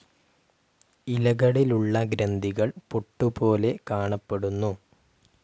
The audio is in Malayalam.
ഇലകളിലുള്ള ഗ്രന്ഥികൾ പൊട്ടുപോലെ കാണപ്പെടുന്നു.